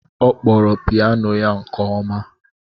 Ọ kpọrọ piyano ya nke ọma.